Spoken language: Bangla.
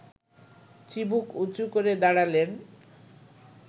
চিবুক উঁচু করে দাঁড়ালেন